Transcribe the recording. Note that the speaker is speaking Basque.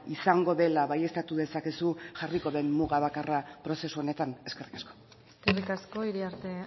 izango dela baieztatu dezakezu jarriko den muga bakarra prozesu honetan eskerrik asko eskerrik asko iriarte